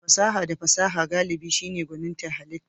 Fasaha da fasaha galibi shine gwanintar halitta.